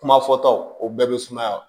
Kuma fɔtaw o bɛɛ bɛ sumaya